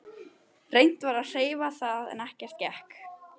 Reynt var að hreyfa það en ekkert gekk.